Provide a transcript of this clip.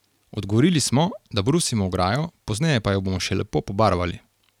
Odgovorili smo, da brusimo ograjo, pozneje pa jo bomo še lepo pobarvali.